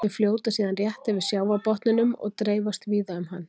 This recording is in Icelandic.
Þau fljóta síðan rétt yfir sjávarbotninum og dreifast víða um hann.